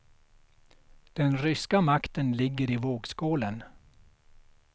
Den ryska makten ligger i vågskålen.